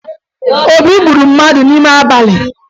Obi gburu mmadụ n'ime abalị